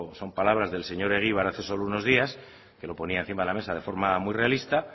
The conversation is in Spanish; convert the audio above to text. son palabras del señor egibar hace solo unos días lo ponía encima de la mesa de forma muy realista